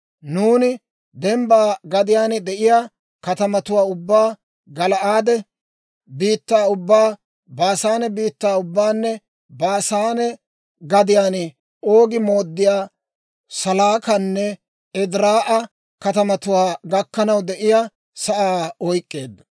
Nuuni dembba gadiyaan de'iyaa katamatuwaa ubbaa, Gala'aade biittaa ubbaa, Baasaane biittaa ubbaanne Baasaane gadiyaan Oogi mooddiyaa Salaakanne Ediraa'a katamatuwaa gakkanaw de'iyaa sa'aa oyk'k'eeddo.